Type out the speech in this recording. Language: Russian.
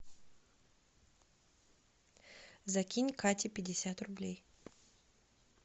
закинь кате пятьдесят рублей